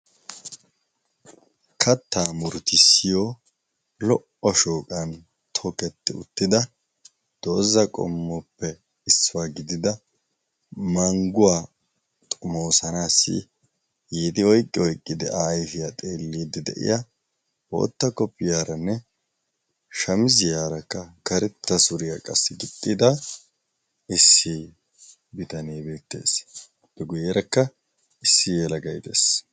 Katta murtissiyo lo"o shooqan too ketti uttida dooza qommoppe issiwaa gidida mangguwaa xumoosanaassi yiidi oiqqiyo iqqidi a ayfiyaa xeelliiddi de'iya bootta koppiyaaranne shamiziyaarakka karetta suriyaa qassi gixxida issi bitanei beettees pe guyyeerakka issi yelagay dees.